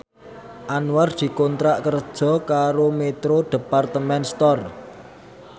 Anwar dikontrak kerja karo Metro Department Store